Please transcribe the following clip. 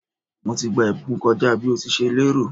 Mo ti gba ìbùkún kọ́ja bí o ti ṣe lè rò.